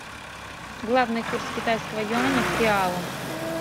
главный курс китайского юаня к реалу